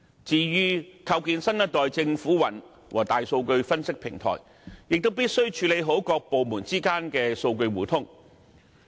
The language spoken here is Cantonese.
至於構建新一代政府雲和大數據分析平台，亦必須處理好各部門之間的數據互通。